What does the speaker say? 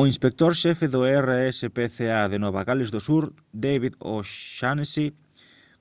o inspector xefe do rspca de nova gales do sur david o'shannessy